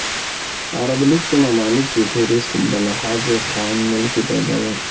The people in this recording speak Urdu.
عرب لیگ کے ممالک کی فہرست بلحاظ خام ملکی پیداوار